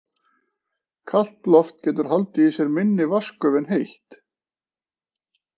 Kalt loft getur haldið í sér minni vatnsgufu en heitt.